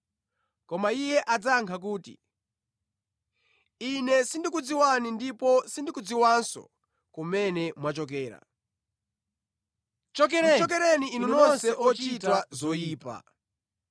“Koma Iye adzayankha kuti, ‘Ine sindikukudziwani ndipo sindikudziwanso kumene mwachokera. Chokereni inu nonse ochita zoyipa!’